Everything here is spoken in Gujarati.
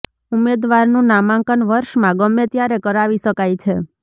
ઉમેદવારનું નામાંકન વર્ષમાં ગમે ત્યારે કરાવી શકાય છે